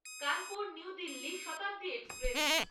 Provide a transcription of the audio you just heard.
Kanpur new Delhi Shatabdi express